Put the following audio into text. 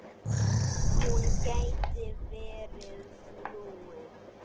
Hún gæti verið flúin.